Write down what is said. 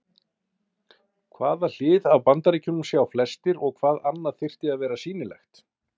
Hvaða hlið af Bandaríkjunum sjá flestir og hvað annað þyrfti að vera sýnilegt?